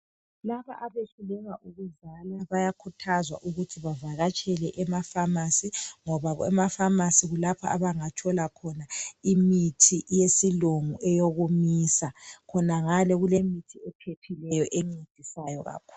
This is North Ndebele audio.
Laba abayehluleka ukuzala bayakhuthazwa ukuthi bavakatsele ema phamarcy ngoba ema phamarcy kulapha abangathola khona imithi yesilungu eyokumisa khonangale kulemithi ephephileyo encedisayo kakhulu.